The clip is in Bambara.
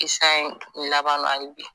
Kisa in laban na hali bi